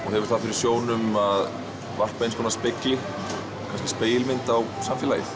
og hefur það fyrir sjónum að varpa eins konar spegilmynd á samfélagið